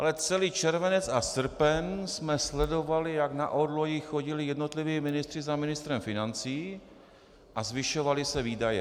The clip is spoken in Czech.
Ale celý červenec a srpen jsme sledovali, jak na orloji chodili jednotliví ministři za ministrem financí a zvyšovaly se výdaje.